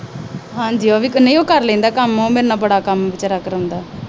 ਹਾਂ ਜੀ। ਉਹ ਕਰ ਲੈਂਦਾ ਕੰਮ। ਉਹ ਮੇਰੇ ਨਾਲ ਕੰਮ ਬੜਾ ਕਰਵਾਉਂਦਾ।